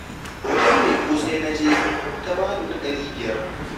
Wajen mai ƙosai na je ta ba ni na ɗari biyar